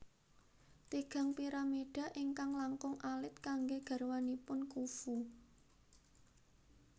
Tigang piramida ingkang langkung alit kanggé garwanipun Khufu